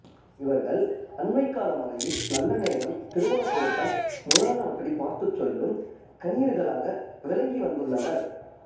இவர்கள் அண்மைக்காலம் வரையில் நல்லநேரம் திருமணப் பொருத்தம் முதலானவற்றைப் பார்த்துச் சொல்லும் கணியர்களாக விளங்கிவந்துள்ளனர்